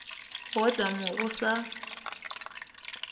go ota mo go sa